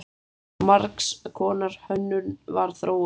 Margs konar hönnun var þróuð.